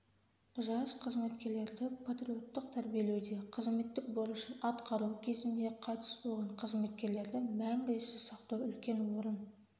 жас қызметкерлерді патриоттық тәрбиелеуде қызметтік борышын атқару кезінде қайтыс болған қызметкерлерді мәңгі еске сақтау үлкен орын